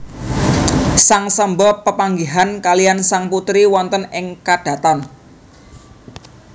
Sang Samba pepanggihan kaliyan sang putri wonten ing kadhaton